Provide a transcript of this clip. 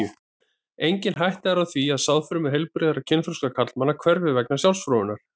Engin hætta er á því að sáðfrumur heilbrigðra kynþroska karlmanna hverfi vegna sjálfsfróunar.